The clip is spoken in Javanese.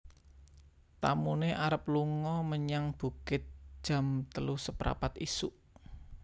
Tamune arep lungo menyang bukit jam telu seprapat isuk